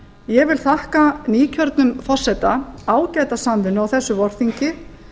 ég vil þakka nýkjörnum forseta ágæta samvinnu á þessu vorþingi